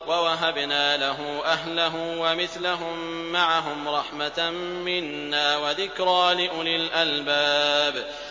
وَوَهَبْنَا لَهُ أَهْلَهُ وَمِثْلَهُم مَّعَهُمْ رَحْمَةً مِّنَّا وَذِكْرَىٰ لِأُولِي الْأَلْبَابِ